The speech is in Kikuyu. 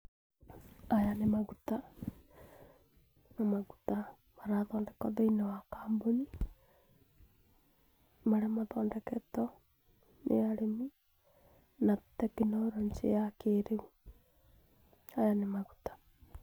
Maya nĩ maguta, maguta marathondekwa thĩinĩ wa kambuni ,marĩa mathondeketwo nĩ arĩmi na tekinoronjĩ ya kĩrĩu. Maya nĩ maguta.